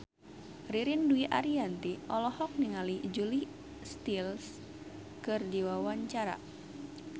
Ririn Dwi Ariyanti olohok ningali Julia Stiles keur diwawancara